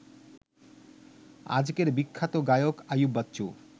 আজকের বিখ্যাত গায়ক আইয়ুব বাচ্চু